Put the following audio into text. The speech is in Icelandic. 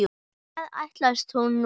Hvað ætlast hún nú fyrir?